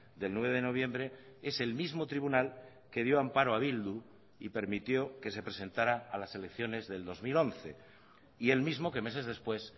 del nueve de noviembre es el mismo tribunal que dio amparo a bildu y permitió que se presentara a las elecciones del dos mil once y el mismo que meses después